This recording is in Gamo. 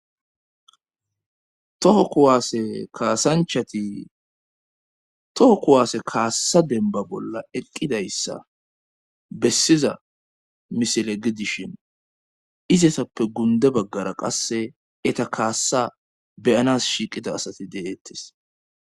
Too kuwaase kaasanchati toho kuwaasse kaassa demba bolla eqqidayssa bessiza misile gidishin izesappe gunde baggara qasse eta kaassa beyanas shiiqida asati deeettes.